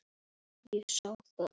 Elsku Mæja mín.